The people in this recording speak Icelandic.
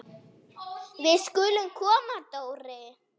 Við skulum koma Dóri!